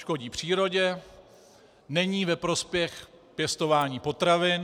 Škodí přírodě, není ve prospěch pěstování potravin.